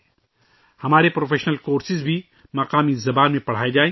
کوششیں جاری ہیں کہ ہمارے پیشہ ورانہ کورسز کو بھی مقامی زبان میں پڑھائے جائیں